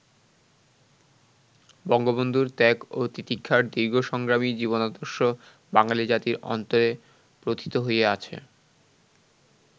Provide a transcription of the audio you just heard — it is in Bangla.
বঙ্গবন্ধুর ত্যাগ ও তিতিক্ষার দীর্ঘ সংগ্রামী জীবনাদর্শ বাঙালি জাতির অন্তরে প্রোথিত হয়ে আছে।